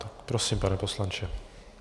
Tak prosím, pane poslanče.